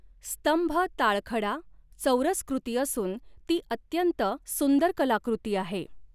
स्तंभ ताळखडा चौरस्कृती असून ती अत्यंत सुंदर कलाकृती आहे